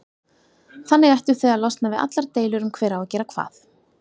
Þannig ættuð þið að losna við allar deilur um hver á að gera hvað.